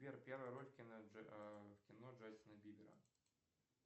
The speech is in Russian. сбер первая роль в кино джастина бибера